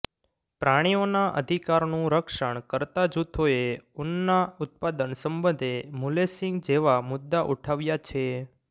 પ્રાણીઓના અધિકારનું રક્ષણ કરતા જૂથોએ ઊનના ઉત્પાદન સંબંધે મુલેસિંગ જેવા મુદ્દા ઉઠાવ્યા છે